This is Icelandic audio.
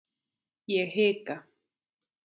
Ég hika.